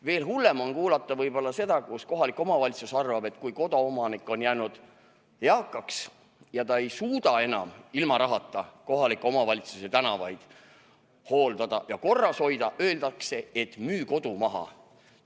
Veel hullem on kuulata seda, kui kohalik omavalitsus arvab, et kui koduomanik on jäänud eakaks ja ta ei suuda enam ilma rahata kohaliku omavalitsuse tänavaid hooldada ja korras hoida, tuleb kodu maha müüa.